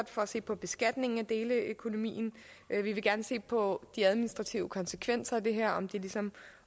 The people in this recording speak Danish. for at se på beskatningen af deleøkonomien vi vil gerne se på de administrative konsekvenser af det her om de ligesom